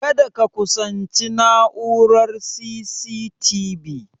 Kada ka kusanci na'urar C.C.T.V